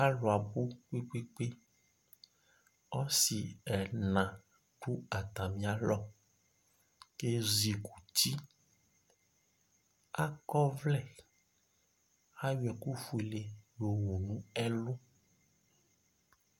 Alu abu kpekpekpe Asi ɛla adu atami alɔ, kʋ ezikuti Akɔ ɔvlɛ Ayɔ ɛkʋfue di yowu nʋ ɛlʋ